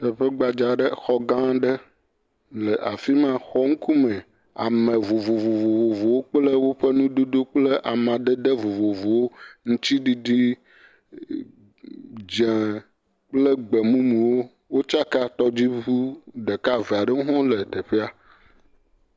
Teƒe gbadzaa aɖe, xɔ gã aɖe le afi ma. Xɔ ŋkume. Ame vovovovowo kple woƒe nudodowo kple amadede vovovowo. Ŋutsiɖiɖi, dzẽe kple gbemumuwo. Wotsa ka. Tɔdziŋu ɖeka ve aɖewo hɔ̃ wole teƒea.